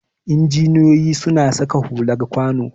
Injiniyoyi suna saka hular kwano